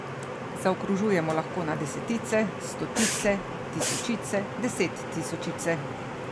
Zaokrožujemo lahko na desetice, stotice, tisočice, desettisočice ...